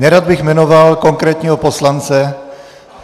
Nerad bych jmenoval konkrétního poslance.